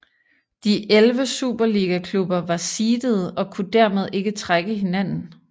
De 11 Superligaklubber var seedede og kunne dermed ikke trække hinanden